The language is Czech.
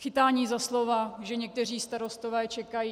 Chytání za slova, že někteří starostové čekají.